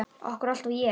Af hverju alltaf ég?